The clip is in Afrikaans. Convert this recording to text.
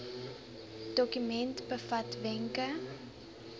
dokument bevat wenke